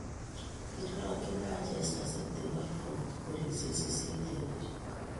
Kororokyi Manchester City Watford kolisiek sisit eng buch